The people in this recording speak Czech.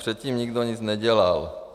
Předtím nikdo nic nedělal.